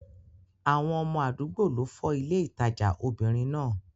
Àwọn ọmọ àdúgbò ló fọ́ ilé ìtajà obìnrin náà.